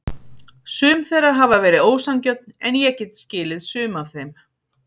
Sum þeirra hafa verið ósanngjörn en ég get skilið sum af þeim.